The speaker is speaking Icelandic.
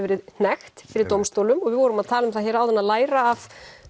verið hnekkt fyrir dómstólum og við vorum að tala um það hér áðan að læra af